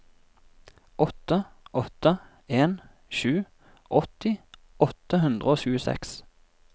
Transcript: åtte åtte en sju åtti åtte hundre og tjueseks